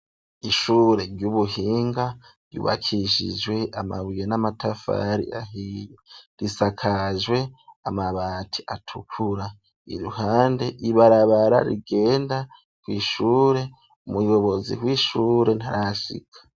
Ishure ry'ubuhinga ryubakishijwe amabuye n'amatafari ahiye risakajwe amabati atukura, iruhande ibarabara rigenda kw'ishure umuyobozi w'ishure ntarashika.